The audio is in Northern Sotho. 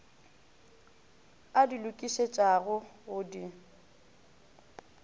a di lokišetšago go di